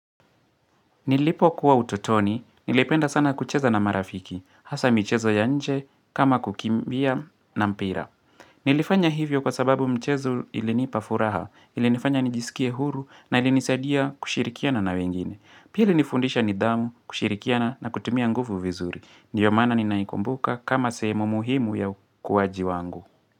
Nilipokuwa ututoni, nilipenda sana kucheza na marafiki, hasaa michezo ya nje, kama kukimbia na mpira. Nilifanya hivyo kwa sababu mchezo ilinipa furaha, ilinifanya nijisikie huru na ilinisaidia kushirikiana na wengine. Pili ilinifundisha nidhamu, kushirikiana na kutumia nguvu vizuri. Ndiyo maana ninaikumbuka kama sehemu muhimu ya ukuwaji wangu.